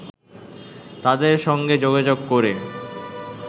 তাদের সঙ্গে যোগাযোগ করে